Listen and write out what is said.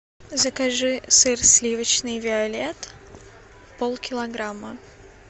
закажи сыр сливочный виолет полкилограмма